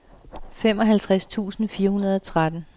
femoghalvtreds tusind fire hundrede og tretten